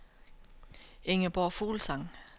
Ingeborg Fuglsang